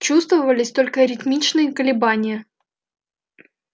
чувствовались только ритмичные колебания